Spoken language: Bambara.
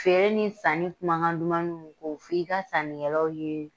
Feere ni sanni kumakan duman minnu bɛ fɔ, k'o f'i ka sannikɛlaw ye